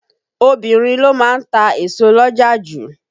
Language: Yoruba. Obinrin ló má ń ta èso l'ọ́jà ju.